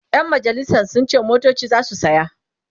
ƴan majalisan sun ce motoci zasu saya